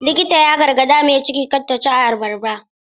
Likitan ya gargaɗi mai ciki kada ta ci abarba.